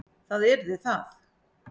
Það yrði það.